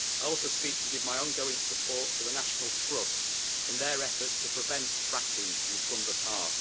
I also speak to give my ongoing support to the National Trust in their efforts to prevent fracking in Clumber Park.